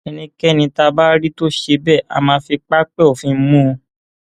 ẹnikẹni tá a bá rí tó ṣe bẹẹ á máa fi pápẹ òfin mú un